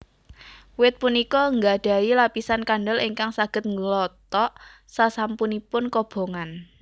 Wit punika nggadhahi lapisan kandel ingkang saged nglothok sasampunipun kobongan